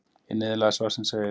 Í niðurlagi svarsins segir: